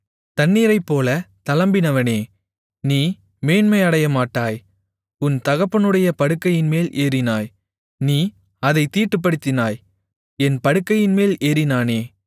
தண்ணீரைப்போல தளம்பினவனே நீ மேன்மை அடையமாட்டாய் உன் தகப்பனுடைய படுக்கையின்மேல் ஏறினாய் நீ அதைத் தீட்டுப்படுத்தினாய் என் படுக்கையின்மேல் ஏறினானே